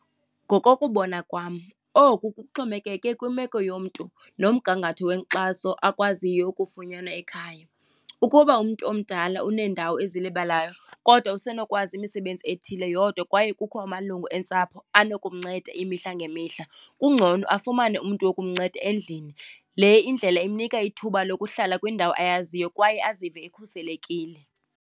Ngokokubona kwam oku kuxhomekeke kwimeko yomntu nomgangatho wenkxaso akwaziyo ukufunyanwa ekhaya. Ukuba umntu omdala uneendawo ezilibalayo kodwa usenokwazi imisebenzi ethile yodwa kwaye kukho amalungu eentsapho anokumnceda imihla ngemihla, kungcono afumane umntu wokumnceda endlini. Le indlela imnika ithuba lokuhlala kwindawo ayaziyo kwaye azive ekhuselekile.